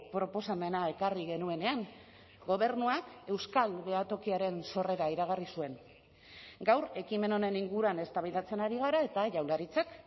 proposamena ekarri genuenean gobernuak euskal behatokiaren sorrera iragarri zuen gaur ekimen honen inguruan eztabaidatzen ari gara eta jaurlaritzak